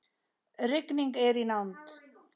Rigning er í nánd.